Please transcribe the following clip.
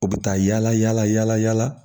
U bɛ taa yala yala yala yala